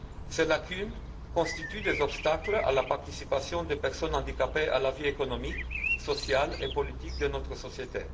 Ces lacunes constituent des obstacles à la participation des personnes handicapées à la vie économique, sociale et politique de notre société.